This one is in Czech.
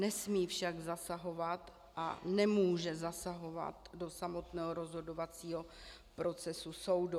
Nesmí však zasahovat a nemůže zasahovat do samotného rozhodovacího procesu soudu.